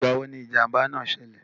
Ìgbà wo ni ìjànbá náà sẹlẹ̀?